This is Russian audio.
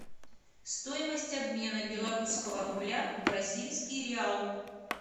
стоимость обмена белорусского рубля в бразильский реал